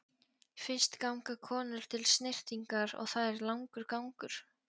Fyrst ganga konur til snyrtingar og það er langur gangur.